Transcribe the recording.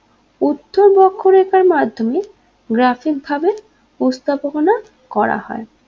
উচ্চ বক্ররেখার মাধ্যমে gtaphic ভাবে প্রস্তাবনা করা হয়